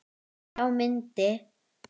Þá myndi